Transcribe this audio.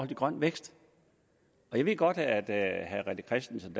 til grøn vækst jeg ved godt at at herre rené christensen